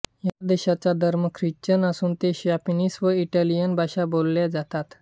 या देशाचा धर्म ख्रिश्चन असून येथे स्पॅनिश व इटालियन भाषा बोलल्या जातात